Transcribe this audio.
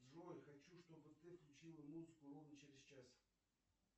джой хочу чтобы ты включила музыку ровно через час